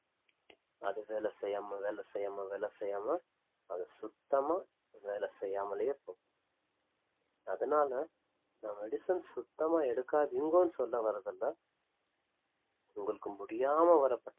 அது வேலைலசெய்யாம வேலைசெய்யாம வேலைசெய்யாம அது சுத்தமா வேல செய்யாமலேயே போ~ அதனால நான் medicine சுத்தமா எடுக்காதீங்கோன்னு சொல்ல வர்றதுல்ல உங்களுக்கு முடியாம வர்ற பட்ச்~